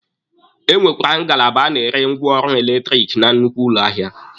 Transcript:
E nwekwara ngalaba a na-ere ngwaọrụ eletiriki na nnukwu ụlọ ahịa.